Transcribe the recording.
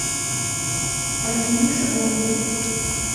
альфиюше голубевой